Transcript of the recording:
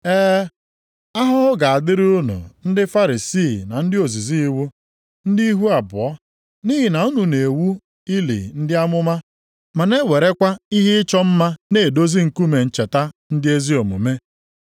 “E, ahụhụ ga-adịrị unu ndị Farisii na ndị ozizi iwu, ndị ihu abụọ! Nʼihi na unu na-ewu ili ndị amụma na-ewerekwa ihe ịchọ mma na-edozi nkume ncheta ndị ezi omume.